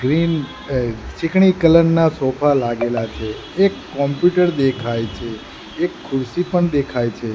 Green અ ચીકણી colour ના સોફા લાગેલા છે એક કોમ્પ્યુટર દેખાય છે એક ખુરશી પણ દેખાય છે.